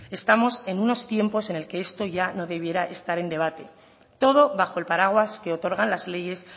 estamos en unos tiempos en el que esto ya no debiera estar en debate todo bajo el paraguas que otorgan las leyes